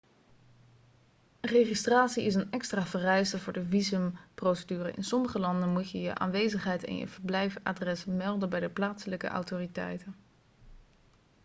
registratie is een extra vereiste voor de visumprocedure in sommige landen moet je je aanwezigheid en je verblijfadres melden bij de plaatselijke autoriteiten